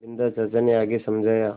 बिन्दा चाचा ने आगे समझाया